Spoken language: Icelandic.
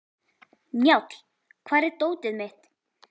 Njáll, hvar er dótið mitt?